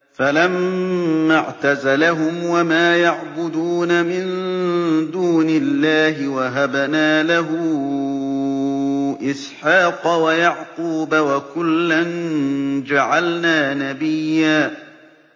فَلَمَّا اعْتَزَلَهُمْ وَمَا يَعْبُدُونَ مِن دُونِ اللَّهِ وَهَبْنَا لَهُ إِسْحَاقَ وَيَعْقُوبَ ۖ وَكُلًّا جَعَلْنَا نَبِيًّا